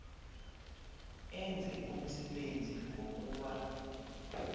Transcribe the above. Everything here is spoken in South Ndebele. enze umsebenzi wokuba